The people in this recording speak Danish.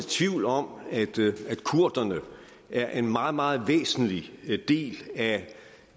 tvivl om at kurderne er en meget meget væsentlig del af